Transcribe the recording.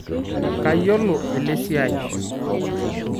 Kayiolo elesiai